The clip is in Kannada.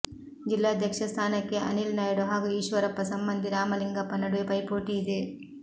ಜಿಲ್ಲಾಧ್ಯಕ್ಷ ಸ್ಥಾನಕ್ಕೆ ಅನಿಲ್ ನಾಯ್ಡು ಹಾಗೂ ಈಶ್ವರಪ್ಪ ಸಂಬಂಧಿ ರಾಮಲಿಂಗಪ್ಪ ನಡುವೆ ಪೈಪೋಟಿ ಇದೆ